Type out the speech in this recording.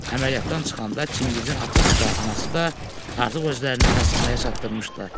Əməliyyatdan çıxanda Çingizin atası da, anası da artıq özlərini xəstəxanaya çatdırmışdılar.